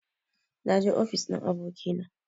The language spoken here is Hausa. Na je ofis ɗin abokina